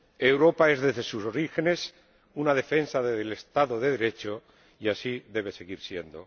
Europa es, desde sus orígenes, una defensa del Estado de Derecho y así debe seguir siendo.